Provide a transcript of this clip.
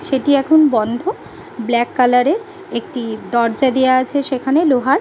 সেটি এখন বন্ধ। ব্ল্যাক কালার -এর একটি দরজা দেওয়া আছে সেখানে লোহার ।